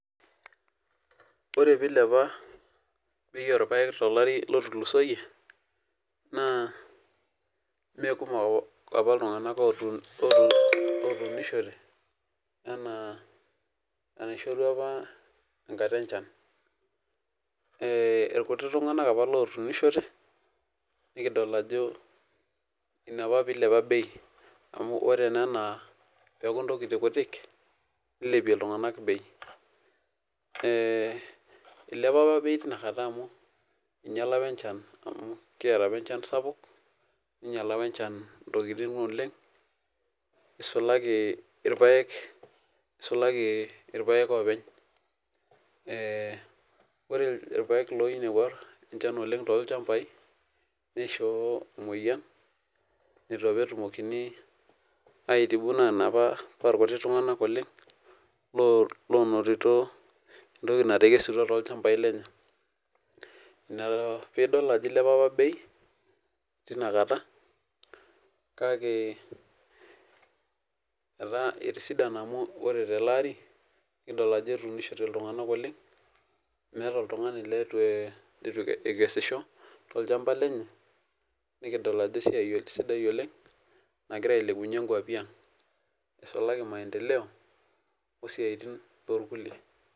Ore pilepa bei orpaek tolari otulusoyie na mekumok apa ltunganak otuunishote anaa enaishorua apa enkata enchan irkuti tunganak apa otuunishore na ina pilepa bei ore na peaku ntokitin kutik nilpie ltunganak ilepa apa tinakata amu inyala apa enchan amu kiata apa enchan ntokitin oleng isulaki irpaek isulaki irpaek opwny ore irpaek oinepua enchan tolchambai nishoo emoyian nitu apa erumokini aitibu enaapa ashu irkuti tunganak oinotito entoki natekesutua tolchamba lenye na pidol ajo ilepea apa bei tinakata kake etisidana amu kidolta ajo atuunishore ltunganak oleng ituekesisho nikidol ajo esiai sidai oleng nagira ailepunye nkwapi aang isulaki maendeleo